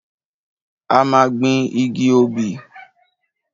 A máa gbin igi obì.